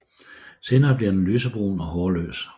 Senere bliver den lysebrun og hårløs